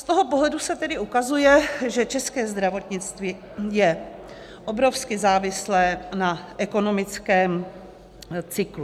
Z toho pohledu se tedy ukazuje, že české zdravotnictví je obrovsky závislé na ekonomickém cyklu.